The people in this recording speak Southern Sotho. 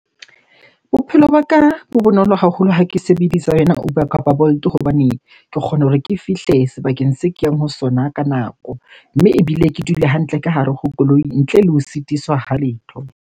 Bophelo ba ka bo bonolo haholo ha ke sebedisa yona Uber kapa Bolt hobane ke kgona hore ke fihle sebakeng se ke yang ho sona ka nako. Mme ebile ke dule hantle ka hare ho koloi ntle le ho sitiswa ha letho.